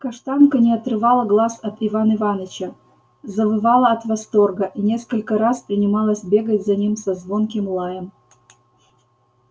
каштанка не отрывала глаз от иван иваныча завывала от восторга и несколько раз принималась бегать за ним со звонким лаем